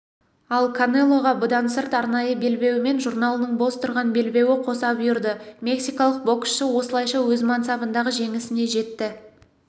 ал канелоға бұдан сырт арнайы белбеуі мен журналының бос тұрған белбеуі қоса бұйырды мексикалық боксшы осылайша өз мансабындағы жеңісіне жетті